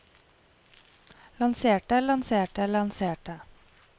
lanserte lanserte lanserte